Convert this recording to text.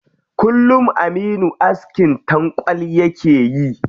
Kullum aminu askin tankwal yake yi.